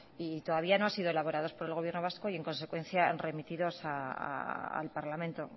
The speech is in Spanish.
y todavía no han sido elaborados por el gobierno vasco y en consecuencia remitidos al parlamento